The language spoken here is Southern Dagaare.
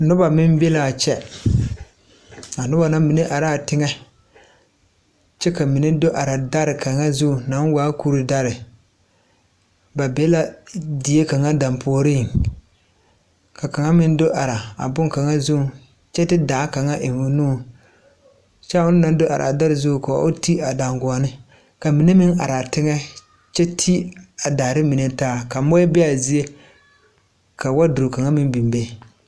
Noba meŋ be la a kyɛ a noba na mine arɛɛ a teŋɛ kyɛ ka mine do are dare kaŋa zuŋ naŋ waa kuri dare ba be la die kaŋa dampuori ka kaŋa meŋ do are boŋkaŋa zuŋ kyɛ de daa kaŋa eŋ o nuŋ kyɛ ona naŋ do are dare zuŋ o ti a daŋguoni ka mine meŋ are a teŋɛ kyɛ ti a daare mine taa ka mui be a zie ka waduro kaŋa meŋ biŋ a be.